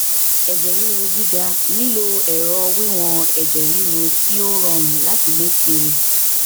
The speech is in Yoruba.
ẹjẹ riru giga lilo ẹrọ wiwọn ẹjẹ riru ti o rọrun lati gbe kiri